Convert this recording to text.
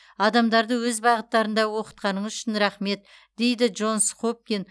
адамдарды өз бағыттарында оқытқаныңыз үшін рахмет дейді джонс хопкин